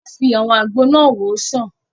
Wọ́n fi àwọn àgbo náà wòó sàn